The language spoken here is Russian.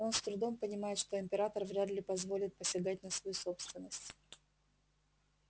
он с трудом понимает что император вряд ли позволит посягать на свою собственность